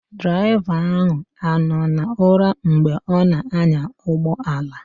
Draịva ahụ anọ na ụra mgbe ọ na anya ụgbọala?